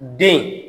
Den